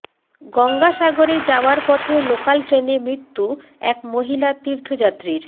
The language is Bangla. গঙ্গাসাগরে যাওয়ার পথে লোকাল ট্রেনে মৃত্যু এক মহিলা তীর্থযাত্রীর